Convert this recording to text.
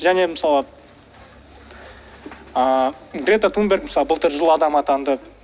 және мысалы ыыы грета тунберг мысалы былтыр жыл адамы атанды